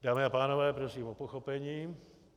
Dámy a pánové, prosím o pochopení.